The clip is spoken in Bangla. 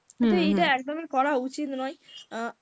কিন্তু এটা একদমই করা উচিত নয়,